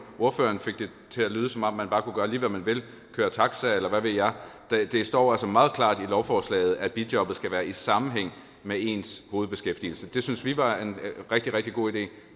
ordføreren fik det til at lyde som om man bare kunne gøre lige hvad man ville køre taxa eller hvad ved jeg det står altså meget klart i lovforslaget at bijobbet skal være i sammenhæng med ens hovedbeskæftigelse det syntes vi var en rigtig rigtig god idé